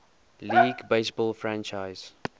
league baseball franchise